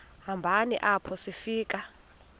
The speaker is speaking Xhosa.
hambeni apho sifika